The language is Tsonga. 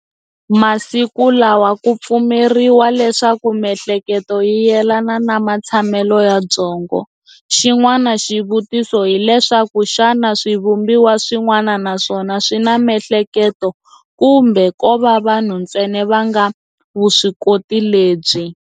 Masiku lawa kupfumeriwa leswaku mihleketo yi yelana na matshamele ya byongo. Xin'wana xivutiso hileswaku xana swi vumbiwa swin'wana naswona swina mihleketo kumbe kova vanhu ntsena vanga vuswikoti lebyi.